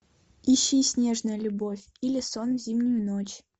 ищи снежная любовь или сон в зимнюю ночь